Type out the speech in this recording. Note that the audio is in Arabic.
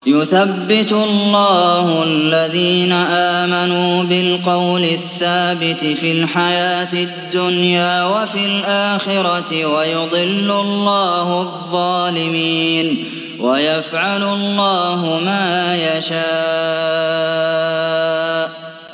يُثَبِّتُ اللَّهُ الَّذِينَ آمَنُوا بِالْقَوْلِ الثَّابِتِ فِي الْحَيَاةِ الدُّنْيَا وَفِي الْآخِرَةِ ۖ وَيُضِلُّ اللَّهُ الظَّالِمِينَ ۚ وَيَفْعَلُ اللَّهُ مَا يَشَاءُ